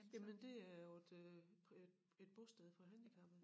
Jamen det er på et øh et et bosted for handicappede